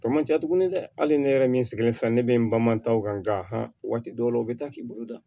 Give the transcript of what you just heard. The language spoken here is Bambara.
Tɔ man ca tuguni dɛ hali ne yɛrɛ min sigilen fɛ ne bɛ n balima ta o kan nka nka waati dɔw la u bɛ taa k'i bolo da